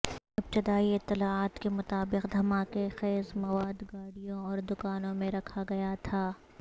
ابتدائی اطلاعات کے مطابق دھماکہ خیز مواد گاڑیوں اور دکانوں میں رکھا گیا تھا